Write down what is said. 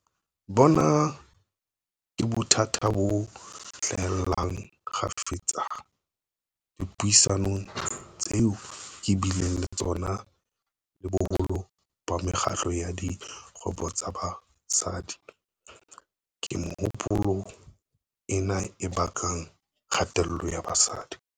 Bona ke bothata bo hlahellang kgafetsa dipuisanong tseo ke bileng le tsona le boholo ba mekgatlo ya dikgwebo tsa basadi. Ke mehopolo ena e bakang kgatello ya basadi.